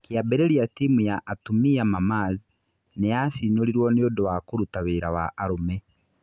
Kĩambĩrĩria timu ya atumia Mamaz nĩ yacinũrirwo nĩũndũ wa kũruta wĩra wa arũme.